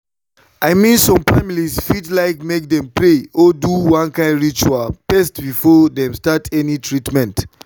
i mean some families fit like make dem pray or do one kind ritual first before dem start any treatment.